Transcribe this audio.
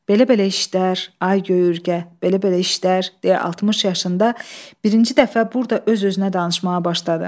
“Belə-belə işlər, ay göy ürgə, belə-belə işlər” deyə 60 yaşında birinci dəfə burda öz-özünə danışmağa başladı.